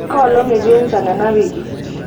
koolong etii enchan enawiki